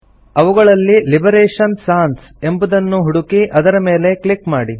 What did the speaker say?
ಅವುಗಳಲ್ಲಿ liberation sans ಎಂಬುದನ್ನು ಹುಡುಕಿ ಅದರ ಮೇಲೆ ಕ್ಲಿಕ್ ಮಾಡಿ